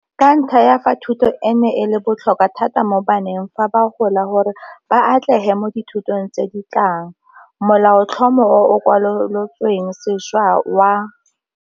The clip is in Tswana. Ka ntlha ya fa thuto eno e le botlhokwa thata mo baneng fa ba gola gore ba atlege mo dithutong tse di tlang, Molaotlhomo o o Kwalolotsweng Sešwa wa.